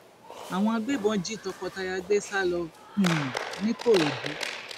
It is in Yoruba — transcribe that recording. àwọn agbébọn jí tọkọtaya gbé sá lọ um nìkòròdú